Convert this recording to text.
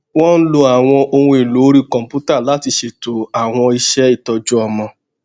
wón lo àwọn ohunèlò orí kòǹpútà láti ṣètò àwọn iṣé ìtọjú ọmọ